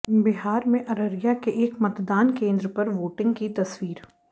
बिहार में अररिया के एक मतदान केंद्र पर वोटिंग की तस्वीर